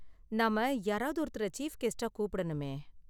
நாம யாராவது ஒருத்தரை சீஃப் கெஸ்ட்டா கூப்பிடணுமே.